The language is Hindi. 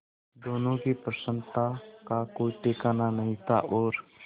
दोनों की प्रसन्नता का कोई ठिकाना नहीं था और